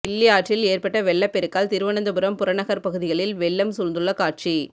கிள்ளி ஆற்றில் ஏற்பட்ட வெள்ளப் பெருக்கால் திருவனந்தபுரம் புறநகர் பகுதிகளில் வெள்ளம் சூழ்ந்துள்ள காட்சி